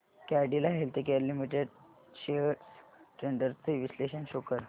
Cadila healthcare limited shares trends चे विश्लेषण show कर